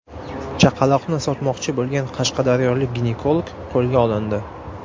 Chaqaloqni sotmoqchi bo‘lgan qashqadaryolik ginekolog qo‘lga olindi.